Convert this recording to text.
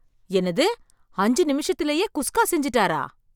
என்னது, அஞ்சு நிமிஷத்துலயே குஸ்கா செஞ்சுட்டாரா!